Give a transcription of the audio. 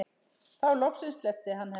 Þá loksins sleppti hann henni.